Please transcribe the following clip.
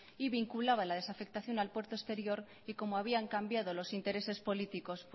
y vinculaba la desafectación al puerto exterior y como habían cambiado los intereses políticos